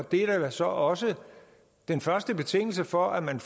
det er da så også den første betingelse for at man